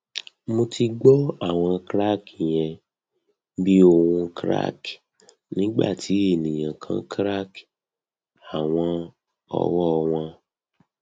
mo ti gbọ awọn crack yen bi ohun crack nigbati eniyan kan crack awọn ọwọ wọn